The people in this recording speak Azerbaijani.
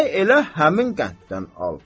Səy elə həmin qənddən al.